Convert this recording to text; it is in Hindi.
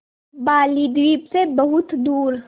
बालीद्वीप सें बहुत दूर